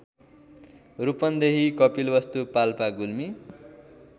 Rupandehi Kapilvastu Palpa Gulmi